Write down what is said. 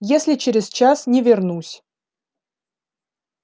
если через час не вернусь